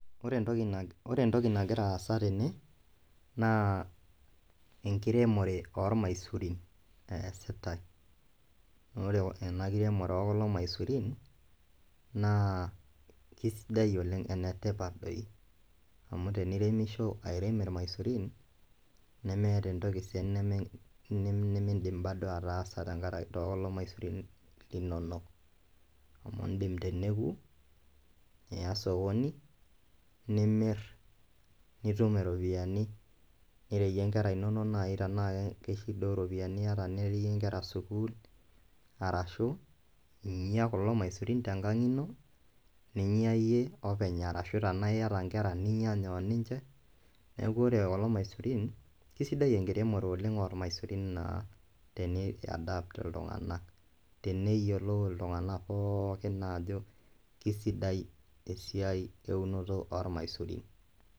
Wore entoki nak wore entoki nakira aasa tene, naa enkiremore oomaisurin eesitai. Wore enakitemore oo kulo maisurin, naa kaisidai oleng' enetipat doi, amu teniremisho airem ilmaisurin, nemeeta entoki sii nemed nimiindim bado ataasa too kulo maisurin linonok. Amu iindim teneeku, iya osokoni, nimirr, nitum iropiyiani, nireyie inkera inonok naai tenaa shida ooropiyiani iata nireyie inkera skuul arashu inyaa kulo maisurin tenkang' ino, ninya iyie openy arashu tenaa iyata inkera ninyanya oninche, neeku wore kulo maisurin, kaisidai enkiremore oleng' oolmaisurin ah teni-adapt iltunganak teneyiolou iltunganak pookin ajo kesidai esiai eunoto oolmaisurin.